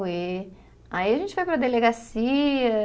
Aí a gente foi para a delegacia.